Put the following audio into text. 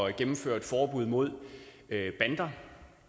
at gennemføre et forbud mod bander